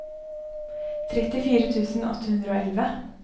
trettifire tusen åtte hundre og elleve